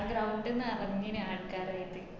ആ ground നെറഞ്ഞിന് ആള്ക്കാറയിറ്റ്